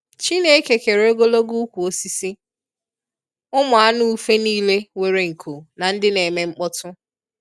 Chineke kere ogologo ukwu osisi, ụmụ anụ ufe nile nwere nku na ndi na-eme mkpọtụ